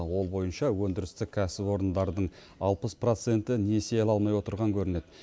ал ол бойынша өндірістік кәсіпорындардың алпыс проценті несие ала алмай отырған көрінеді